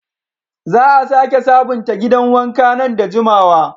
Za a sake sabunta gidan wanka nan da jimawa.